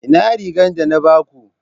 Ina rigar da na ba ku?